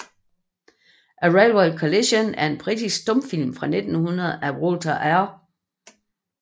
A Railway Collision er en britisk stumfilm fra 1900 af Walter R